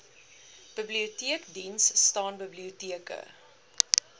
biblioteekdiens staan biblioteke